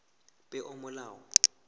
peomolao